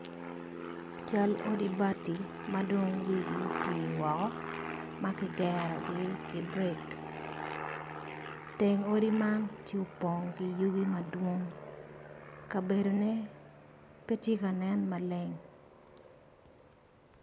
Cal odi bati madong wigi oti woko makigero gi ki brik teng odi man tye opong ki yugi madwong kabeodone pe tye ka nen maleng.